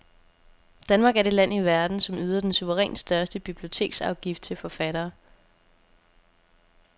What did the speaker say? Danmark er det land i verden, som yder den suverænt største biblioteksafgift til forfattere.